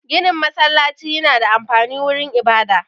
Ginin masallaci yana da amfani wurin ibada